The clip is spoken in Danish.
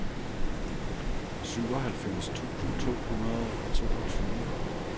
syvoghalvfems tusind to hundrede og toogtyve